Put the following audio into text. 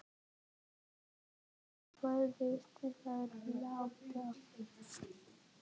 Pólunum og þó víðar væri leitað.